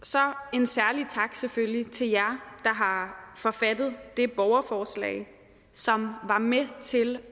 en særlig tak selvfølgelig til jer der har forfattet det borgerforslag som var med til